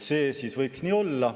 Siis see võiks nii olla.